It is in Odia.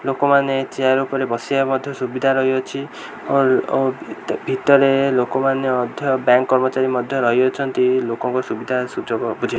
ଲୋକମାନେ ଚେୟାର ଉପରେ ବସିବା ମଧ୍ୟ ସୁବିଧା ରହିଅଛି ଅର ଅ ଭିତ ଭିତରେ ଲୋକମାନେ ମଧ୍ୟ ବ୍ୟାଙ୍କ କର୍ମଚାରୀ ମଧ୍ୟ ରହି ଅଛନ୍ତି ଲୋକଙ୍କ ସୁବିଧା ସୁଯୋଗ ବୁଝି --